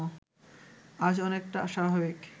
আজ অনেকটা স্বাভাবিক